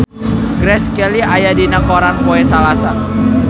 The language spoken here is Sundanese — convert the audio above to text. Grace Kelly aya dina koran poe Salasa